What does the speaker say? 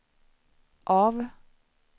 av